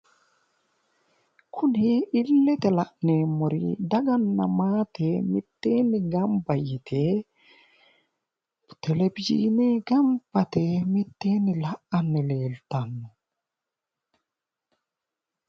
kuni illete la'neemmori daganna maate mitteenni gamba yite televizhiine gamba yite mitteenni la'anni leeltanno